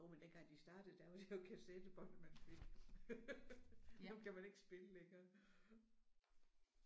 Jo men dengang de startede der var det jo kassettebåndet man fik. Dem kan man ikke spille længere